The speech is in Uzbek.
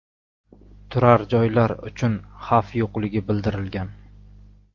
Turar-joylar uchun xavf yo‘qligi bildirilgan.